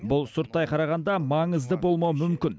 бұл сырттай қарағанда маңызды болмауы мүмкін